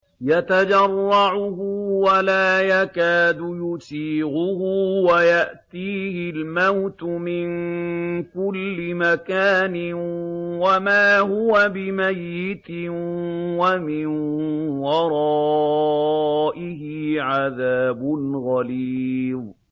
يَتَجَرَّعُهُ وَلَا يَكَادُ يُسِيغُهُ وَيَأْتِيهِ الْمَوْتُ مِن كُلِّ مَكَانٍ وَمَا هُوَ بِمَيِّتٍ ۖ وَمِن وَرَائِهِ عَذَابٌ غَلِيظٌ